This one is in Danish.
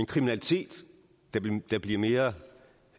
kriminalitet der bliver mere